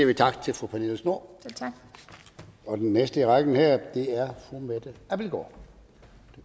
vi tak til fru pernille schnoor og den næste i rækken her er fru mette abildgaard